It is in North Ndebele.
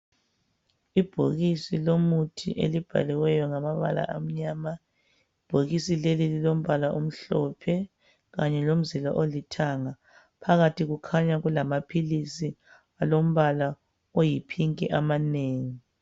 Ibhokisi lomuthi elibhaliweyo ngamabala amnyama. Ibhokisi leli lilombala omhlophe kanye lomzila olithanga. Phakathi kukhanya kulamaphilisi alombala oyi"pink",amanengi.